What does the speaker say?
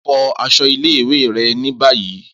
Fọ aṣọ ile-iwe rẹ ni bayi!